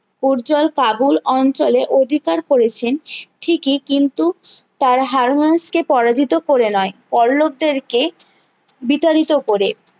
পূর্জল কাবুল অঞ্চলে অধিকার করেছেন ঠিকই কিন্তু তারা পরাজিত করে নয় পল্লবদের কে বিতাড়িত করে